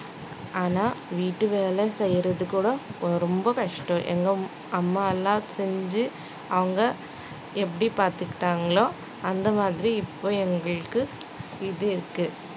ஆனா வீட்டு வேலை செய்யறது கூட ரொம்ப கஷ்டம் எங்க அம்மா எல்லாம் செஞ்சு அவங்க எப்படி பார்த்துக்கிட்டாங்களோ அந்த மாதிரி இப்போ எங்களுக்கு இது இருக்கு